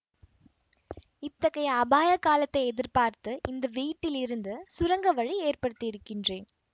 இத்தகைய அபாய காலத்தை எதிர்பார்த்து இந்த வீட்டிலிருந்து சுரங்க வழி ஏற்படுத்தியிருக்கின்றேன்